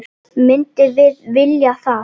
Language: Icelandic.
Myndum við vilja það?